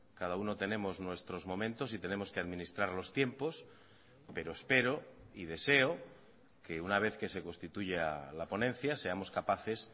cada uno tenemos nuestros momentos y tenemos que administrar los tiempos pero espero y deseo que una vez que se constituya la ponencia seamos capaces